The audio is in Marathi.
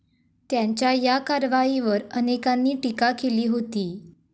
त्यांच्या या कारवाईवर अनेकांनी टीका केली होती.